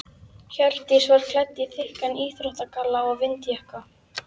Hjördís var klædd í þykkan íþróttagalla og vindjakka.